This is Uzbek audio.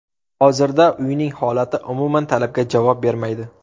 Hozirda uyning holati umuman talabga javob bermaydi.